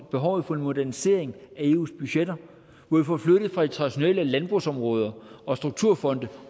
behovet for en modernisering af eus budgetter hvor vi får flyttet dem fra de traditionelle landbrugsområder og strukturfonde